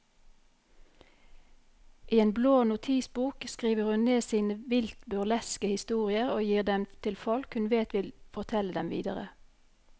I en blå notisbok skriver hun ned sine vilt burleske historier og gir dem til folk hun vet vil fortelle dem videre.